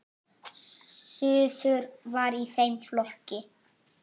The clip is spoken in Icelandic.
Suður var í þeim flokki.